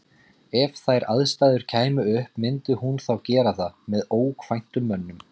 EF þær aðstæður kæmu upp, myndi hún þá gera það með ókvæntum mönnum?